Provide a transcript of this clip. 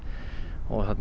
og